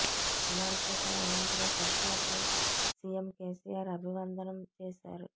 ప్రమాణ స్వీకారం అనంతరం సభికులకు సిఎం కెసిఆర్ అభివందనం చేశారు